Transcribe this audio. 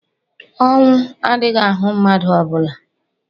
ọnwu adighi-ahu madu ọ bula